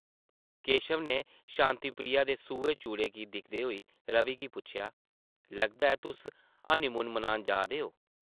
केशव नै शांति प्रिया दे सूहे चूड़े गी दिखदे होई रवि गी पुच्छेआ ,‘‘ लगदा ऐ तुस हनीमून मनान जा दे ओ ।’’